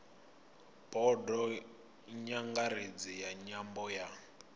bodo nyangaredzi ya nyambo ya